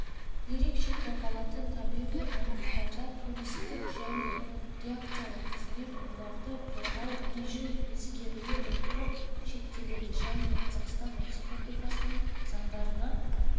ерекше қорғалатын табиғи аумақтарда туристік және рекреациялық қызмет оларды қорғау режим ескеріле отырып шектеледі және қазақстан республикасының заңдарына